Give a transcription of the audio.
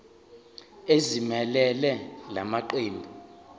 ezimelele la maqembu